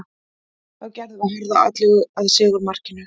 Þá gerðum við harða atlögu að sigurmarkinu.